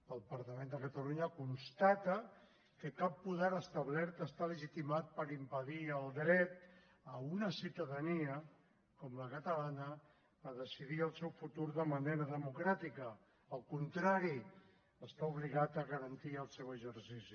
el parlament de catalunya constata que cap poder establert està legitimat per impedir el dret a una ciutadania com la catalana a decidir el seu futur de manera democràtica al contrari està obligat a garantir el seu exercici